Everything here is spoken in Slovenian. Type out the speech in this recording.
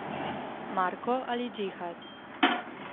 Marko ali Džihad?